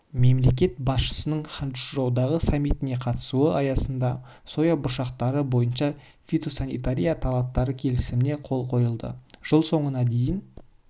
мемлекет басшысының ханчжоудағы саммитіне қатысуы аясындасоя бұршақтары бойынша фитосанитария талаптары келісіміне қол қойылды жыл соңына дейін